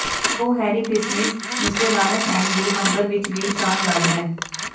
ਉਹ merry Christmas mister Lawrence and the hunger ਵਿਚ ਵੀ ਸ਼ਾਨਦਾਰ ਹੈ